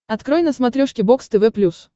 открой на смотрешке бокс тв плюс